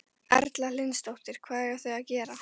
Erla Hlynsdóttir: Hvað eiga þau að gera?